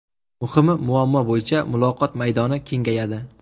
Muhimi, muammo bo‘yicha muloqot maydoni kengayadi.